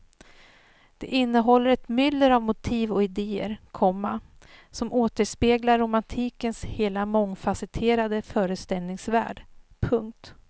Det innehåller ett myller av motiv och idéer, komma som återspeglar romantikens hela mångfasetterade föreställningsvärld. punkt